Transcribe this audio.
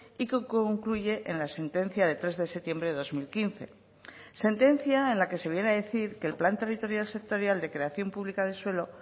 y que concluye en la sentencia de tres de septiembre de dos mil quince sentencia en la que se viene a decir que el plan territorial sectorial de creación pública de suelo